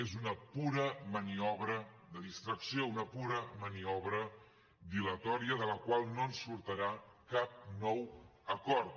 és una pura maniobra de distracció una pura maniobra dilatòria de la qual no en sortirà cap nou acord